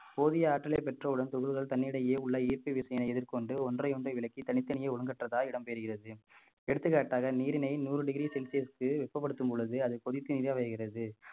போதிய ஆற்றலை பெற்றவுடன் துகள்கள் தன்னிடையே உள்ள ஈர்ப்பு விசையினை எதிர்கொண்டு ஒன்றை ஒன்றை விளக்கி தனித்தனியே ஒழுங்கற்றதாய் இடம் பெறுகிறது எடுத்துக்காட்டாக நீரினை நூறு degree celsius க்கு வெப்பப்படுத்தும் பொழுது அது கொதித்து